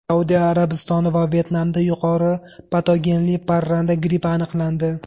Saudiya Arabistoni va Vyetnamda yuqori patogenli parranda grippi aniqlandi.